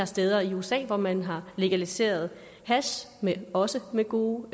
steder i usa hvor man har legaliseret hash også med gode